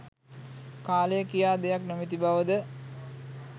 කාලය කියා දෙයක් නොමැති බවද?